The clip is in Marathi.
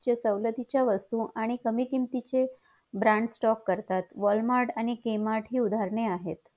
च्या सवलतीच्या वसतू आणि कमी किमतीचे brand stock करतात walmart आणि ki matra उदाहरणे आहेत